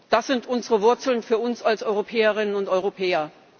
Das sind unsere Wurzeln für uns als Europäerinnen und Europäer.